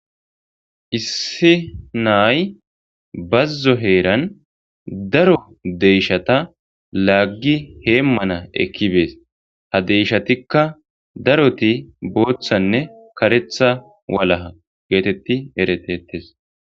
issi naay bazzo heeran daro deyshata laaggi heemmana ekkibees ha deyshatikka daroti booththanne karetha walaha geetetti eretettes